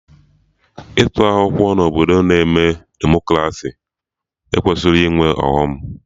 Ịtụ akwụkwọ na obodo na-eme Demokraci ekwesịrọ ịnwe ọghọm